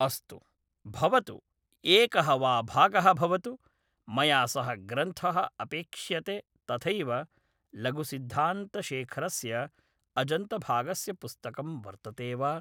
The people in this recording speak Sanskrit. अस्तु भवतु एकः वा भागः भवतु मया सः ग्रन्थः अपेक्ष्यते तथैव लघुसिद्धान्तशेखरस्य अजन्तभागस्य पुस्तकं वर्तते वा